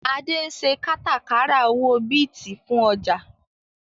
Adé ń ṣe kátàkárà owó Bíìtì fún ọjà